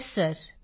yes sir